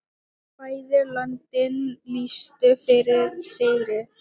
Bæði löndin lýstu yfir sigri.